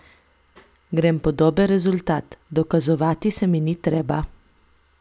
Grem po dober rezultat, dokazovati se mi ni treba.